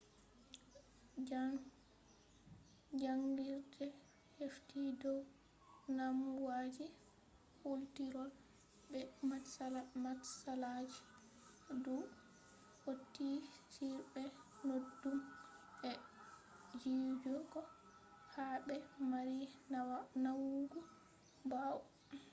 jaangirde hefti dow damuwaji kultirol be matsalaji dou hautii on bee naudum e jijigo ha bee marii nawugo bawoo